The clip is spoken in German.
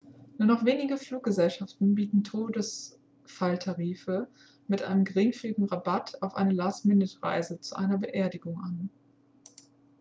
nur noch wenige fluggesellschaften bieten todesfalltarife mit einem geringfügigen rabatt auf eine last-minute-reise zu einer beerdigung an